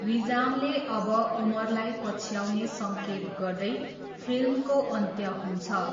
विजामले अब उमरलाई पछ्याउने सङ्केत गर्दै फिल्मको अन्त्य हुन्छ।